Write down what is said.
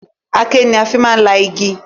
Aké ni a fi máa ń la igi